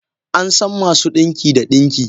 An san masu dinki da dinki.